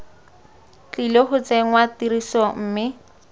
tlile go tsenngwa tirisong mme